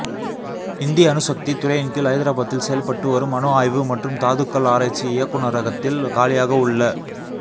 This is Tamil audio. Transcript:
இந்தி அணுசக்தி துறையின்கீழ் ஹைதராபாத்தில் செயல்பட்டு வரும் அணு ஆய்வு மற்றும் தாதுக்கள் ஆராய்ச்சி இயக்குநரகத்தில் காலியாக உள்ள